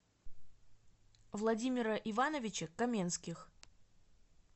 владимира ивановича каменских